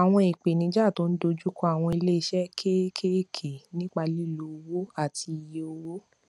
àwọn ìpèníjà tó ń dojú kọ àwọn ilé iṣé kéékèèké nípa lílo owó àti iye owó